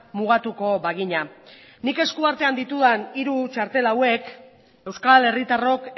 mugatuko bagina nik eskuartean ditudan hiru txartel hauek euskal herritarrok